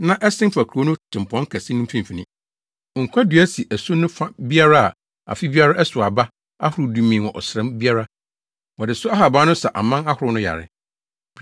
na ɛsen fa kurow no tempɔn kɛse no mfimfini. Nkwa dua si asu no fa biara a afe biara ɛsow aba ahorow dumien wɔ ɔsram biara. Wɔde so ahaban no sa aman ahorow no yare.